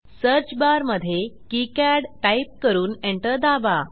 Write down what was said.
search बारमधे किकाड type करून एंटर दाबा